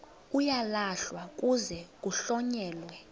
uyalahlwa kuze kuhlonyelwe